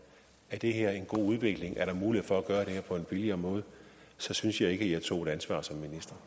det er en god udvikling er mulighed for at gøre det her på en billigere måde så synes jeg ikke at jeg tog ansvar som